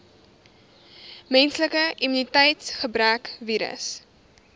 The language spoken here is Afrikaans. menslike immuniteitsgebrekvirus